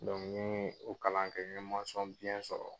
n ye o kalan kɛ n ye sɔrɔ.